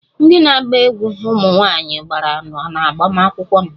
Ndị na-agba egwú ụmụ nwanyị gbara n'agbamakwụkwọ m